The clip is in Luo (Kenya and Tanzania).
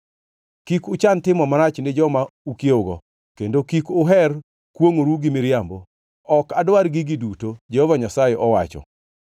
kik uchan timo marach ni joma ukiewogo, kendo kik uher kwongʼoru gi miriambo. Ok adwar gigi duto,” Jehova Nyasaye owacho.